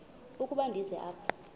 ukuba ndize apha